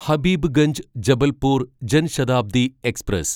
Habibganj Jabalpur Jan Shatabdi express